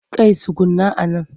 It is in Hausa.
Kai tsuguna a nan!